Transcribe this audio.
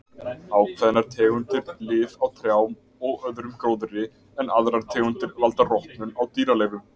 Ákveðnar tegundir lif á trjám og öðrum gróðri en aðrar tegundir valda rotnun á dýraleifum.